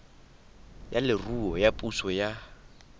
ya leruo ya puso ya